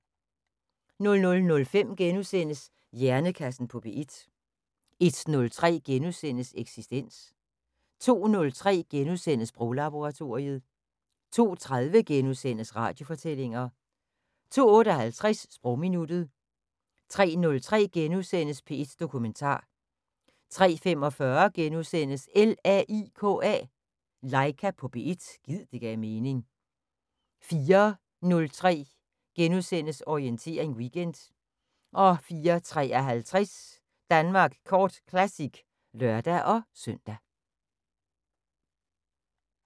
00:05: Hjernekassen på P1 * 01:03: Eksistens * 02:03: Sproglaboratoriet * 02:30: Radiofortællinger * 02:58: Sprogminuttet 03:03: P1 Dokumentar * 03:45: LAIKA på P1 – gid det gav mening * 04:03: Orientering Weekend * 04:53: Danmark Kort Classic (lør-søn)